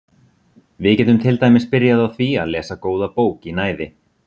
Við getum til dæmis byrjað á því að lesa góða bók í næði.